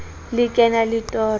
le ke na le toro